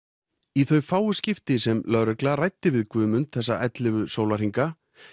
í þau fáu skipti sem lögreglan ræddi við Guðmund þessa ellefu sólarhringa